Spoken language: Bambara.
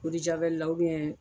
la